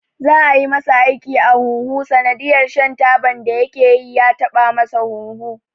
Za'a yi masa aiki a huhu sanadiyar shan taban da yakeyi ya taba masa hunhu.